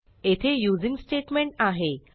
येथे using statement आहे